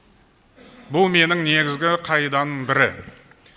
бұл менің негізгі қағидамның бірі